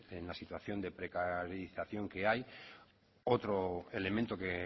en la situación precarización que hay otro elemento que